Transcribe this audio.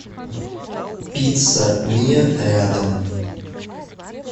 пицца миа рядом